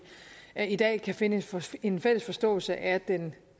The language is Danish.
i dag kan finde en fælles forståelse af den